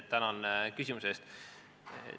Tänan küsimuse eest!